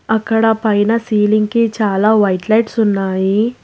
అక్కడ పైన సీలింగ్ కి చాలా వైట్ లైట్స్ ఉన్నాయి.